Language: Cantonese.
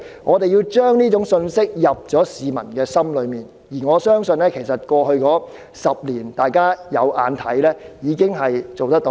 我們要將這種信息刻進市民內心，過去10年的情況，大家也看得到，我相信我們已經做到這件事。